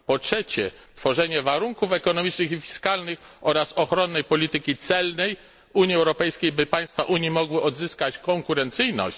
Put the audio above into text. Po trzecie, tworzenie warunków ekonomicznych i fiskalnych oraz ochronnej polityki celnej w Unii Europejskiej, by państwa Unii mogły odzyskać konkurencyjność.